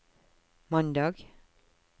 mandag